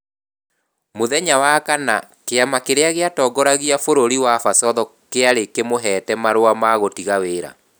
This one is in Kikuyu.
Mũthenya wa kana, kĩama kĩrĩa gĩatongoragia bũrũri wa Basotho kĩarĩ kĩmũheete marũa ma gũtiga wĩra.